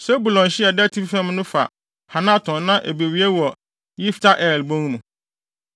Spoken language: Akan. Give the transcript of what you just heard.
Sebulon hye a ɛda atifi fam no fa Hanaton na ebewie wɔ Yifta-El bon mu.